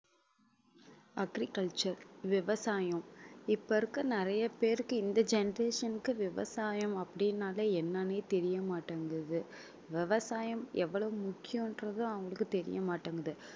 agriculture விவசாயம் இப்ப இருக்க நறைய பேருக்கு இந்த generation க்கு விவசாயம் அப்படின்னாலே என்னன்னே தெரிய மாட்டங்குது விவசாயம் எவ்வளவு முக்கியம் என்றது அவங்களுக்கு தெரிய மாட்டங்குது